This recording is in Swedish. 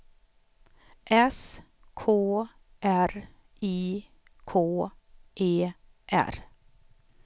S K R I K E R